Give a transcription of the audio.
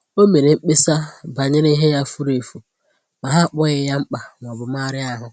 O mere mkpesa banyere ihe ya fùrù efù, ma ha akpọghị ya mkpa maọbụ megharịa ahụ